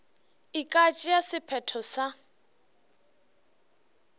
e ka tšea sephetho sa